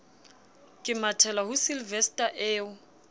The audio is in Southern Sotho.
ke mathela ho sylvester eo